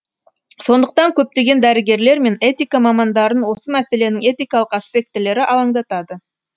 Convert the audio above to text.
сондықтан көптеген дәрігерлер мен этика мамандарын осы мәселенің этикалық аспектілері алаңдатады